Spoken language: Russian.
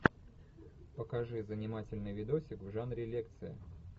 покажи занимательный видосик в жанре лекция